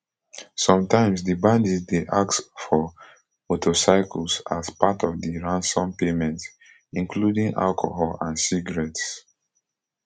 sometimes di bandits dey ask for motorcycles as part of di ransom payment including alcohol and cigarettes